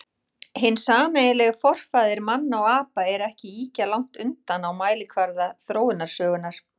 Hinn sameiginlegi forfaðir manna og apa er ekki ýkja langt undan á mælikvarða þróunarsögunnar.